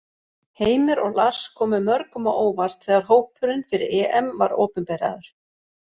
Heimir og Lars komu mörgum á óvart þegar hópurinn fyrir EM var opinberaður.